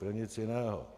Pro nic jiného.